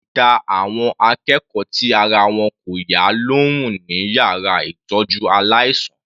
Wọ́n máa dá àwọn akẹ́kọ̀ọ́ tí ara wọn kò yá lóhùn ní yàrá ìtọ́jú aláìsàn.